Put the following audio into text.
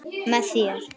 Með þér.